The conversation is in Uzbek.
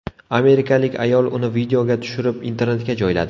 Amerikalik ayol uni videoga tushirib internetga joyladi.